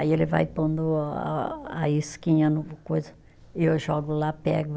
Aí ele vai pondo a a isquinha no coisa, e eu jogo lá, pego.